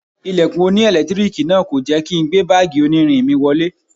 Ilẹ̀kùn oní ẹ̀lẹ́tíríìkì náà kò jẹ́ kí n gbé báàgì onírin mi wọlé.